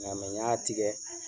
Nga n y'a tigɛ.